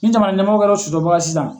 Ni jamana ɲɛmɔgɔ kɛra o sɔsɔbaga ye sisan.